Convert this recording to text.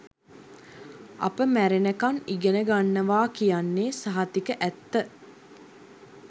අපි මැරෙනකම් ඉගෙනගන්නව කියන්නෙ සහතික ඇත්ත